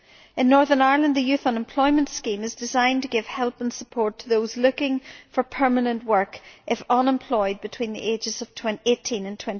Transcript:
In Northern Ireland the youth unemployment scheme is designed to give help and support to those looking for permanent work if they are between the ages of 18 and